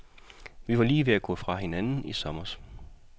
Vi var lige ved at gå fra hinanden i sommers.